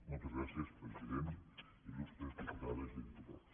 moltes gràcies president il·lustres diputades i diputats